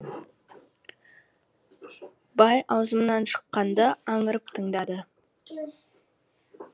бай ауызымнан шыққанды аңырып тыңдады